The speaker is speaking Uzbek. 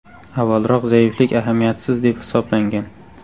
Avvalroq zaiflik ahamiyatsiz deb hisoblangan.